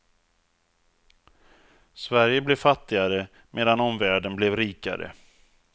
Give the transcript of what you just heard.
Sverige blev fattigare medan omvärlden blev rikare.